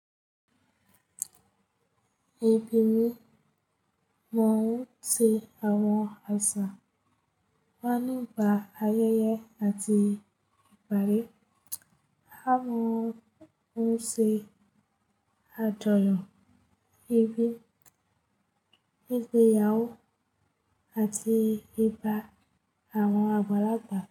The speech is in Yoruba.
Ẹbí mi mọ̀ ọ́n se àwọn àṣà wa nígbaa ayẹyẹ àti ìparí. A mọ̀ ọ́n se àjọyọ̀ ìbí, ìgbéyàwó àti ìbá àwọn àgbàlagbà.